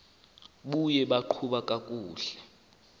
buye baqhuba kakuhle